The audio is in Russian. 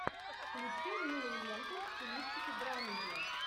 включи милую ленту в стилистике драмеди